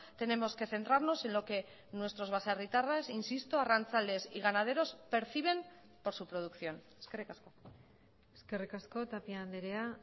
tenemos que centrarnos en lo que nuestros baserritarras insisto arrantzales y ganaderos perciben por su producción eskerrik asko eskerrik asko tapia andrea